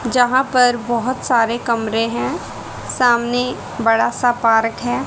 जहां पर बहुत सारे कमरे हैं सामने बड़ा सा पार्क है।